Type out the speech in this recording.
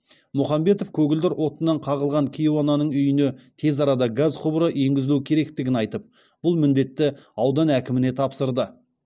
мұхамбетов көгілдір отыннан қағылған кейуананың үйіне тез арада газ құбыры енгізілу керектігін айтып бұл міндетті аудан әкіміне тапсырды